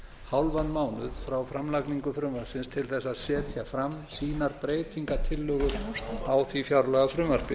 hálfan mánuð frá framlagningu frumvarpsins til þess að setja fram sínar breytingartillögur á því fjárlagafrumvarpi